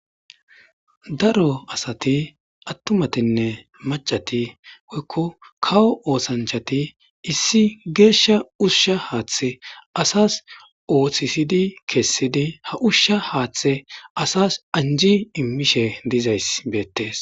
Daro asati attumatinne macati woykon kawo osanchati issi gesha usha hathe asas othishid kesid hathe asas anji immishe dizaysi betes.